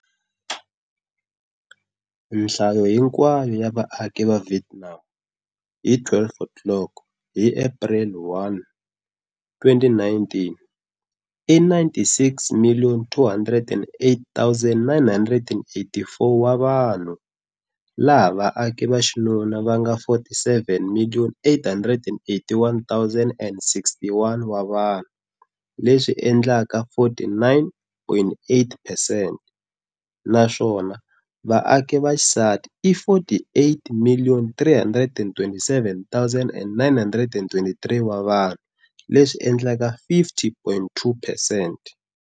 Nhlayo hinkwayo ya vaaki va Vietnam hi 0-00 hi April 1, 2019 i 96,208,984 wa vanhu, laha vaaki va xinuna va nga 47,881,061 wa vanhu, leswi endlaka 49.8 percent naswona vaaki va xisati i 48,327,923 wa vanhu, leswi endlaka 50.2 percent.